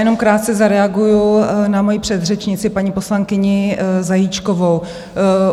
Jenom krátce zareaguji na svoji předřečnici, paní poslankyni Zajíčkovou.